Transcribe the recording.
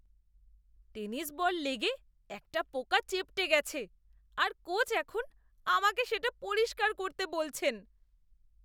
Tennis ball লেগে একটা পোকা চেপ্টে গেছে আর কোচ এখন আমাকে সেটা পরিষ্কার করতে বলছেন।